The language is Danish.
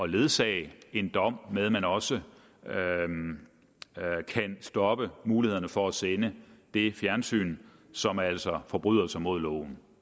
ledsage en dom med at man også kan stoppe mulighederne for at sende det fjernsyn som altså forbryder sig mod loven